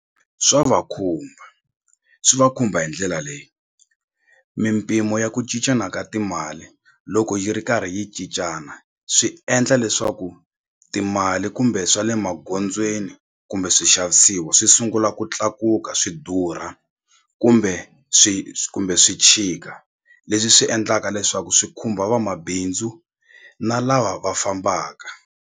Swa va khumba swi va khumba hi ndlela leyi mimpimo ya ku cincana ka timali loko yi ri karhi yi cincana swi endla leswaku timali kumbe swa le magondzweni kumbe swixavisiwa swi sungula ku tlakuka swi durha kumbe swi kumbe swi tshika leswi swi endlaka leswaku swi khumba vamabindzu na lava va fambaka.